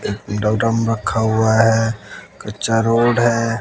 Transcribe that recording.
रखा हुआ है कच्चा रोड है।